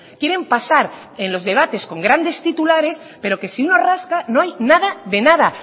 quieren pasar en los debates con grandes titulares pero que si uno rasca no hay nada de nada